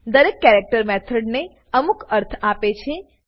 દરેક character method ને અમુક અર્થ આપે છે